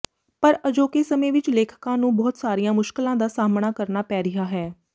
ਪਰ ਅਜੋਕੇ ਸਮੇਂ ਵਿੱਚ ਲੇਖਕਾਂ ਨੂੰ ਬਹੁਤ ਸਾਰੀਆਂ ਮੁਸ਼ਕਿਲਾਂ ਦਾ ਸਾਹਮਣਾ ਕਰਨਾ ਪੈ ਰਿਹਾ ਹੈ